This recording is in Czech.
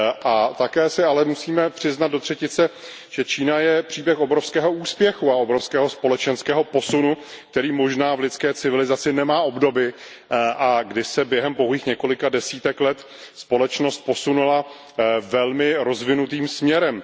Ale také si musíme přiznat do třetice, že Čína je příběh obrovského úspěchu a obrovského společenského posunu, který možná v lidské civilizaci nemá obdoby, kdy se během pouhých několika desítek let společnost posunula velmi rozvinutým směrem.